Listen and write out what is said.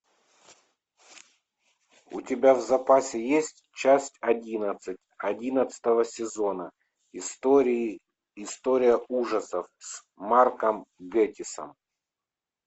у тебя в запасе есть часть одиннадцать одиннадцатого сезона истории история ужасов с марком гэтиссом